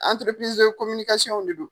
de don.